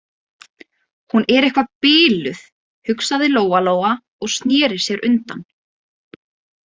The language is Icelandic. Hún er eitthvað biluð, hugsaði Lóa-Lóa og sneri sér undan.